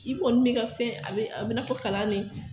I kɔni bɛ i ka fɛn, a bɛ, a bɛ i n'a fɔ kalan de